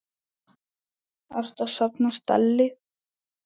Ertu að safna stelli?